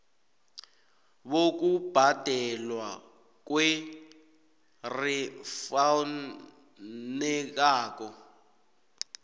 bokubhadelwa kwer efunekako